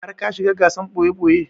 Har ka shiga gasar ɓoye-ɓoye?